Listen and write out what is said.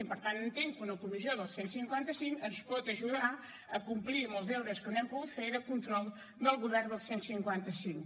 i per tant entenc que una comissió del cent i cinquanta cinc ens pot ajudar a complir amb els deures que no hem pogut fer de control del govern del cent i cinquanta cinc